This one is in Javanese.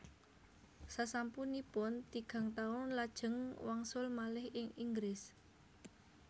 Sasampunipun tigang taun lajeng wangsul malih ing Inggris